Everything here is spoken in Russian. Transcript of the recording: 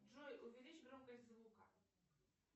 джой увеличь громкость звука